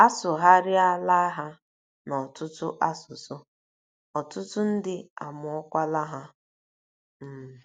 A sụgharịala ha n’ọtụtụ asụsụ, ọtụtụ ndị amụọkwala ha. um